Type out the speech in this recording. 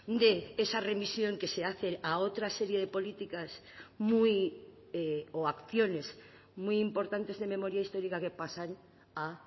de esa remisión que se hace a otra serie de políticas muy o acciones muy importantes de memoria histórica que pasan a